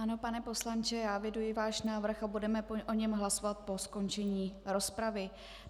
Ano, pane poslanče, já eviduji váš návrh a budeme o něm hlasovat po skončení rozpravy.